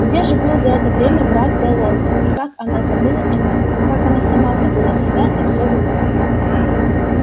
где же был за это время брат голодный и как она забыла о нем как она сама забыла себя и все вокруг